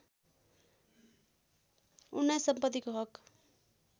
१९ सम्पत्तिको हक